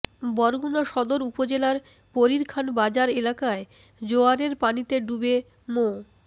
বরগুনা সদর উপজেলার পরীরখান বাজার এলাকায় জোয়ারের পানিতে ডুবে মো